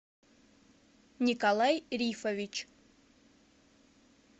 николай рифович